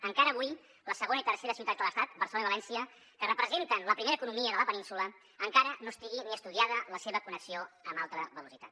encara avui la segona i tercera ciutats de l’estat barcelona i valència que representen la primera economia de la península encara no estigui ni estudiada la seva connexió amb alta velocitat